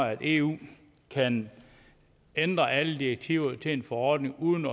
at eu kan ændre alle direktiver til en forordning uden